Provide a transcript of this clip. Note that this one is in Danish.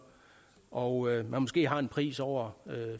og man måske har en pris over